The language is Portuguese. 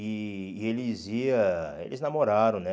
E e eles ia eles namoraram, né?